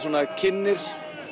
kynnir